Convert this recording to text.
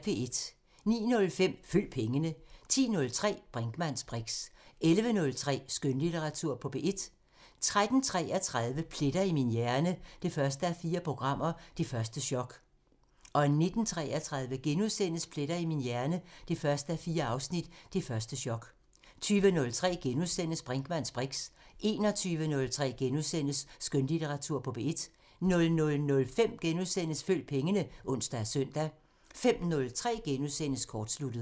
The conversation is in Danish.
09:05: Følg pengene 10:03: Brinkmanns briks 11:03: Skønlitteratur på P1 13:33: Pletter i min hjerne 1:4 – Det første chok 19:33: Pletter i min hjerne 1:4 – Det første chok * 20:03: Brinkmanns briks * 21:03: Skønlitteratur på P1 * 00:05: Følg pengene *(ons og søn) 05:03: Kortsluttet *